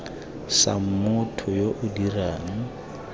sa motho yo o dirang